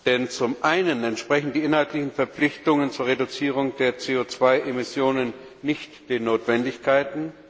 Denn zum einen entsprechen die inhaltlichen Verpflichtungen zur Reduzierung der CO 2 Emissionen nicht den Notwendigkeiten.